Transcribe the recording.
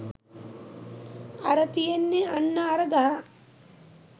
අර තියෙන්නෙ අන්න අර ගහ